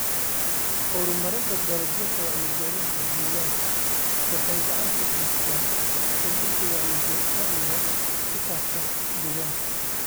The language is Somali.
Horumarinta Dalagyada Wacyigelinta Deegaanka waxay gacan ka geystaan ??kordhinta wacyiga ku saabsan deegaanka.